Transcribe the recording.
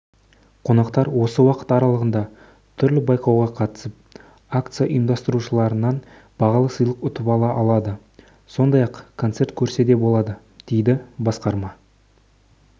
қонақтар осы уақыт аралығында түрлі байқауға қатысып акция ұйымдастырушыларынан бағалы сыйлық ұтып ала алады сондай-ақ концерт көрсе де болады дейді басқарма